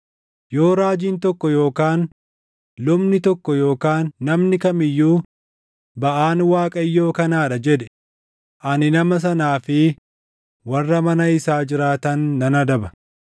Yoo raajiin tokko yookaan lubni tokko yookaan namni kam iyyuu, ‘Baʼaan Waaqayyoo kanaa dha,’ jedhe, ani nama sanaa fi warra mana isaa jiraatan nan adaba.